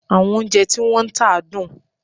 Àwọn oúnjẹ tí wọ́n ń tà dùn?